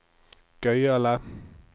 gøyale